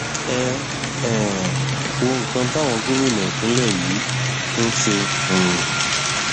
ẹ um wo nǹkan táwọn gómìnà ìpínlẹ yín ń ṣe um